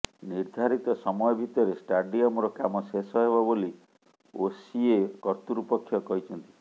ନିର୍ଦ୍ଧାରିତ ସମୟ ଭିତରେ ଷ୍ଟାଡିୟମର କାମ ଶେଷ ହେବ ବୋଲି ଓସିଏ କର୍ତ୍ତୃପକ୍ଷ କହିଛନ୍ତି